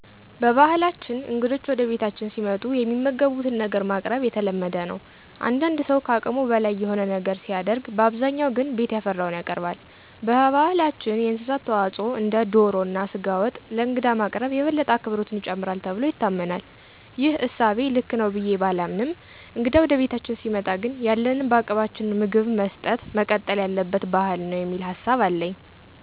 በባህላችን እንግዶች ወደ ቤታችን ሲመጡ የሚመገቡትን ነገር ማቅረብ የተለመደ ነው። አንዳንድ ሠው ከአቅሙ በላይ የሆነ ነገር ሲያደርግ በአብዛኛው ግን ቤት ያፈራውን ያቀርባል። በባህላችን የእንስሳት ተዋፅዖ እንደ ዶሮ እና ስጋ ወጥ ለእንግዳ ማቅረብ የበለጠ አክብሮትን ይጨምራል ተብሎ ይታመናል። ይህ እሳቤ ልክ ነው ብዬ ባላምንም እንግዳ ወደ ቤታችን ሲመጣ ግን ያለንን በአቅማችን ምግብ መስጠጥ መቀጠል ያለበት ባህል ነው የሚል ሀሳብ አለኝ።